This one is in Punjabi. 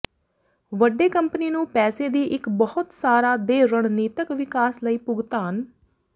ਵੱਡੇ ਕੰਪਨੀ ਨੂੰ ਪੈਸੇ ਦੀ ਇੱਕ ਬਹੁਤ ਸਾਰਾ ਦੇ ਰਣਨੀਤਕ ਵਿਕਾਸ ਲਈ ਭੁਗਤਾਨ